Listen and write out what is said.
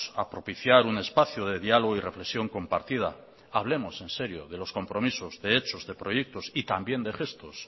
a propiciar un espacio de diálogo y reflexión compartida hablemos en serio de los compromisos de hechos de proyectos y también de gestos